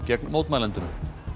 gegn mótmælendum